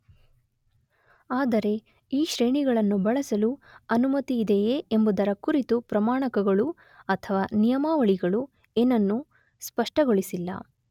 ಆದರೆ ಈ ಶ್ರೇಣಿಗಳನ್ನು ಬಳಸಲು ಅನುಮತಿಯಿದೆಯೇ ಎಂಬುದರ ಕುರಿತು ಪ್ರಮಾಣಕಗಳು ಅಥವ ನಿಯಮಾವಳಿಗಳು ಏನನ್ನು ಸ್ಪಷ್ಟಗೊಳಿಸಿಲ್ಲ.